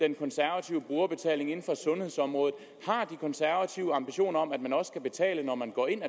den konservative brugerbetaling inden for sundhedsområdet har de konservative ambitioner om at man også skal betale når man gå ind